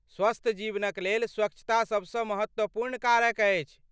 स्वस्थ जीवनक लेल स्वच्छता सबसँ महत्वपूर्ण कारक अछि।